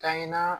Kaɲa na